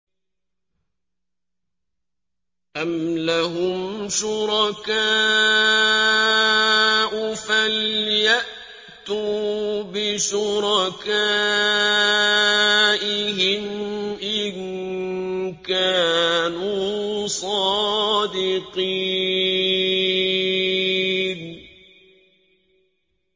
أَمْ لَهُمْ شُرَكَاءُ فَلْيَأْتُوا بِشُرَكَائِهِمْ إِن كَانُوا صَادِقِينَ